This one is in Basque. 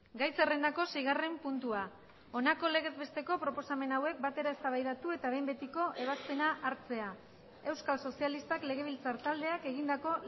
gai zerrendako seigarren puntua honako legez besteko proposamen hauek batera eztabaidatu eta behin betiko ebazpena hartzea euskal sozialistak legebiltzar taldeak egindako